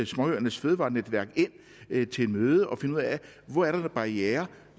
småøernes fødevarenetværk ind til et møde og finde ud af hvor der er barrierer